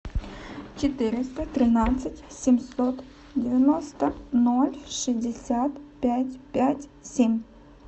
четыреста тринадцать семьсот девяносто ноль шестьдесят пять пять семь